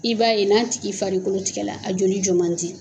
I b'a ye n'a tigi farikolo tigɛla a joli jɔ ma di.